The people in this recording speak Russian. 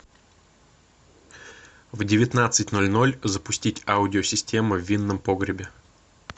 в девятнадцать ноль ноль запустить аудио система в винном погребе